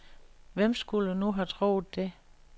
Hvem skulle nu have troet det?